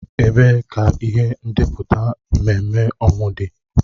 Ebee ka ihe ndepụta ememme ọnwụ dị?